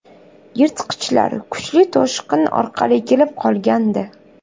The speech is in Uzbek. Yirtqichlar kuchli toshqin orqali kelib qolgandi.